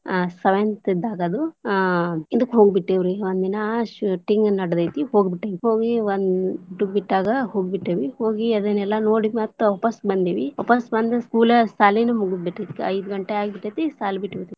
ಆ seventh ಇದ್ದಾಗ ಅದು ಆಹ್ ಇದಕ್ಕ್ ಹೋಗ್ಬಿಟ್ಟೆವ್ ರೀ, ಒಂದಿನಾ shooting ನಡತೈತಿ ಹೋಗಿ ಬಿಟ್ಟವಿ ಹೋಗಿ ಒಂದ್ ದಿನ ಊಟಕ್ಕ್ ಬಿಟ್ಟಾಗ ಹೋಗ್ಬಿಟ್ಟೆವಿ, ಹೋಗಿ ಅದನೆಲ್ಲಾ ನೋಡಿ ಮತ್ ವಾಪಸ್ ಬಂದೇವಿ ವಾಪಸ್ ಬಂದ್ school ಸಾಲಿನು ಮುಗದ್ ಬಿಟ್ಟಿತ್ ಐದ ಗಂಟೆ ಆಗ್ಬಿಟ್ಟೆತಿ ಸಾಲಿ ಬಿಟ್ಟಬಿಟ್ಟೇತಿ.